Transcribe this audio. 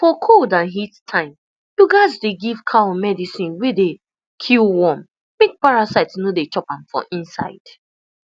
for cold and heat time you gatz dey give cow medicine wey dey kill worm make parasite no dey chop am for inside